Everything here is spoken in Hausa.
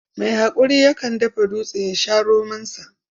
Mai haƙuri yakan dafa dutse ya sha romonsa.